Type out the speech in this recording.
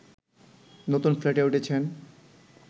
নতুন ফ্ল্যাটে উঠেছেন